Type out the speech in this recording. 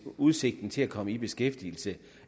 udsigten til at komme i beskæftigelse